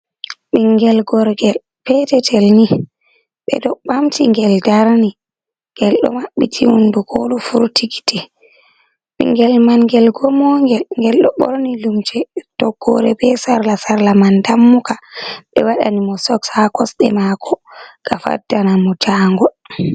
Ɓingel gorgel peetetel ni, ɓe ɗo ɓamti ngel darni, ngel ɗo maɓɓiti hunnduko o ɗo furti giti. Ɓinngel man ngel gomoogel, ngel ɗo ɓorni lumse toggoore bee sarla, sarla man dammuka ɓe waɗani mo soks haa kosɗe maako ngam faddana mo jaangol.